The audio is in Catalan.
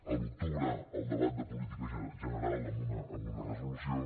a l’octubre al debat de política general amb una resolució